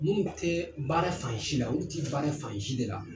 Munnu tɛɛ baara fansi la, olu ti baara fansi de la.